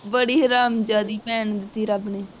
ਬੜੀ ਹਰਾਮਜ਼ਾਦੀ ਭੈਣ ਦਿੱਤੀ ਰੱਬ ਨੇ